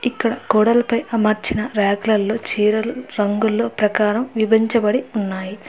ఇక్కడ గోడలపై అమర్చిన ర్యాకులల్లో చీరలు రంగుల్లో ప్రకారం విభించబడి ఉన్నాయి.